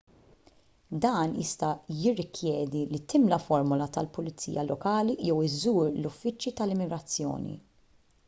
dan jista' jirrikjedi li timla formola tal-pulizija lokali jew iżżur l-uffiċċji tal-immigrazzjoni